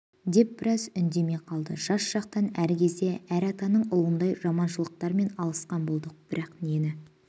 деп біраз үндемей қалды жас шақтан әр кезде әр атаның ұлындай жаманшылықтармен алысқан болдық бірақ нені